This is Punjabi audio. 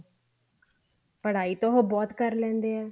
ਪੜ੍ਹਾਈ ਤਾਂ ਉਹ ਬਹੁਤ ਕਰ ਲੈਂਦੇ ਆ